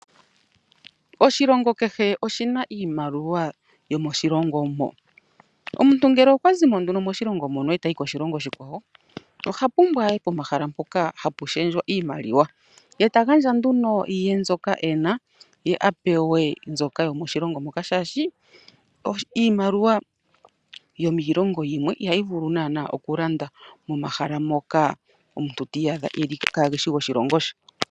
Oshilongo kehe oshina iimaliwa yomoshilongo mo. Omuntu ngele okwa zimo moshilongo etayi koshilongo oshikawo oha pumbwa aye pomahala mpoka hapu shendjwa iimaliwa yeta gandja nduno ye mbyoka ena ye apewe mbyoka yomoshilongo moka shashi iimaliwa yomiilongo yimwe ihayi vulu nana oku landa momahala moka omuntu ti iyadha kageshi goshilongo sho.